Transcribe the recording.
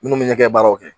Minnu bɛ ɲɛgɛn baaraw kɛ